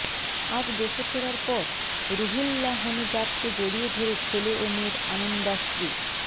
আজ দেশে ফেরার পর রুহুল্লাহনেজাদকে জড়িয়ে ধরে ছেলে ও মেয়ের আনন্দাশ্রু